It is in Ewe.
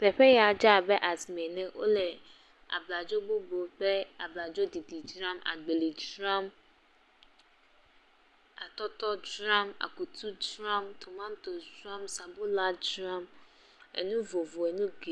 Teƒe ya dze abe asime ene. Wole abladzo gbogbo kple abladzo ɖiɖi dzram. Agbeli dzram, atɔtɔ dzram, akutu dzram, tomatosi sɔŋ, sabula dzram. Enu vovo enu geɖ….